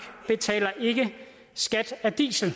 betaler ikke skat af diesel